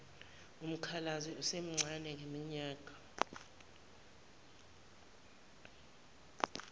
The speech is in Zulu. umkhalazi esemncane ngeminyaka